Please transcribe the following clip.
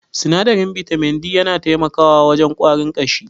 Sinadarin bitamin D yana taimakawa wajen ƙwarin ƙashi.